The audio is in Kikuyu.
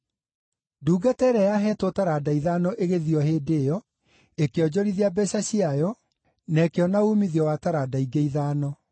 Ndungata ĩrĩa yaneetwo taranda ithano ĩgĩthiĩ o hĩndĩ ĩyo, ĩkĩonjorithia mbeeca ciayo, na ĩkĩona uumithio wa taranda ingĩ ithano.